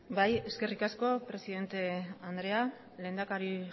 bai eskerrik asko presidente andrea lehendakari